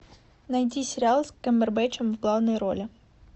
найди сериал с камбербэтчем в главной роли